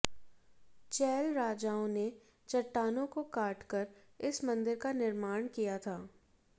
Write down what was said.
चैल राजाओं ने चट्टानों को काटकर इस मंदिर का निर्माण किया गया था